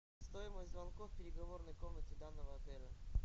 стоимость звонков в переговорной комнате данного отеля